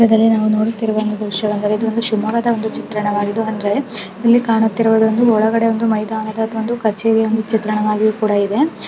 ಈ ಚಿತ್ರದಲ್ಲಿ ನಾವು ನೋಡುತ್ತಿರುವ ಒಂದು ದ್ರಶ್ಯ ಏನೆಂದರೆ ಒಂದು ಶಿವಮೊಗ್ಗದ ದ್ರ್ಯಶ ವಾಗಿದ್ದು ಅಂದರೆ ಇಲ್ಲಿ ಕಾಣುತ್ತಿರುವುದು ಒಂದು ಮೈದಾನದ ಒಂದು ಚಿತ್ರಣ ವಾಗಿದೆ.